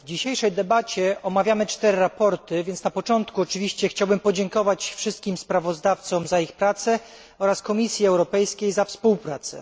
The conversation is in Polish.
W dzisiejszej debacie omawiamy cztery sprawozdania, więc na początku chciałbym podziękować wszystkim sprawozdawcom za ich pracę oraz Komisji Europejskiej za współpracę.